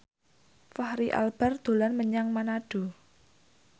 Fachri Albar dolan menyang Manado